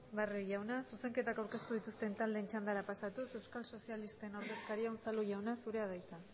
barrio jauna zuzenketak aurkeztu dituzten taldeen txandara pasatuz euskal sozialisten ordezkaria unzalu jauna zurea da hitza